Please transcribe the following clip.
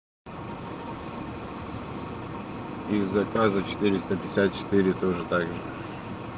их заказы четыреста пятьдесят четыре тоже также